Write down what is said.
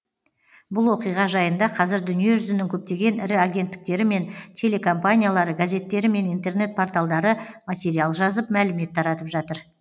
бұл оқиға жайында қазір дүниежүзінің көптеген ірі агенттіктері мен телекомпаниялары газеттері мен интернет порталдары материал жазып мәлімет таратып жатыр